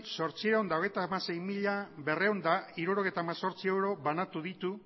zortziehun eta hamasei mila berrehun eta hirurogeita hemezortzi euro banatu ditu